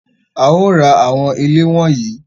A o rá awọn ilé wọnnì